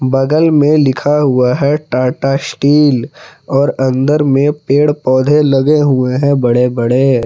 बगल में लिखा हुआ है टाटा शटील और अंदर में पेड़ पौधे लगे हुए हैं बड़े बड़े।